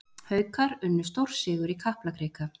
Haukar unnu stórsigur í Kaplakrika